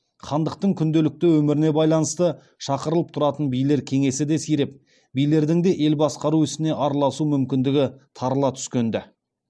хандықтың күнделікті өміріне байланысты шақырылып тұратын билер кеңесі де сиреп билердің ел басқару ісіне араласу мүмкіндігі тарыла түскенді